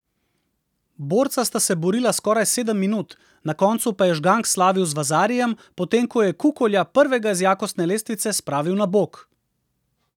Borca sta se borila skoraj sedem minut, na koncu pa je Žgank slavil z vazarijem, potem ko je Kukolja, prvega z jakostne lestvice, spravil na bok.